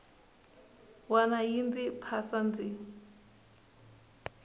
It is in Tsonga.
wana yi ndzi phasa ndzi